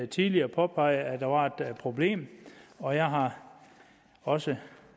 tidligere påpeget at der var et problem og jeg har også